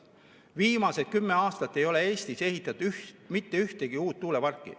Viimased kümme aastat ei ole Eestis ehitatud mitte ühtegi uut tuuleparki.